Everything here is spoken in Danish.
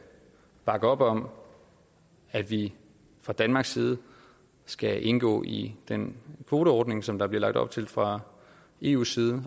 bakke op om at vi fra danmarks side skal indgå i den kvoteordning som der bliver lagt op til fra eus side